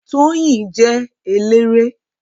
Tóyìn jẹ́ eléré